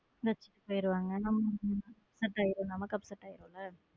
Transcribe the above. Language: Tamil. டக்குனு வச்சிட்டு போயிடுவாங்க நமக்கு upset ஆகிரும்ல.